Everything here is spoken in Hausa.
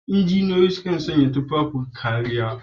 Injiniyoyi su kan sanya tufafin kariya.